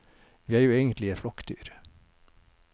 Vi er jo egentlig et flokkdyr.